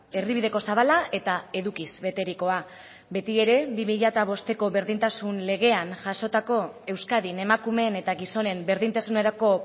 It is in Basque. erdibideko zabala eta edukiz beterikoa beti ere bi mila bosteko berdintasun legean jasotako euskadin emakumeen eta gizonen berdintasunerako